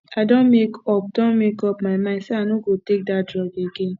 i don make up don make up my mind say i no go take dat drug again